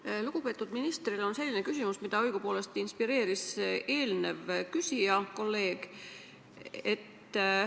Mul on lugupeetud ministrile küsimus, mis õigupoolest on inspireeritud ühe kolleegi küsimusest.